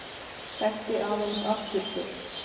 Þekkti aðeins afturför.